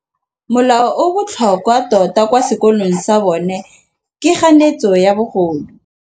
Molao o o botlhokwa tota kwa sekolong sa bone ke kganetsô ya bogodu.